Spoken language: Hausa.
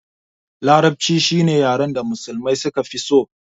Larabci shine yaren da musulmai suka fi so